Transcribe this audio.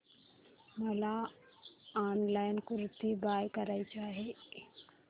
मला online kurti buy करायची आहे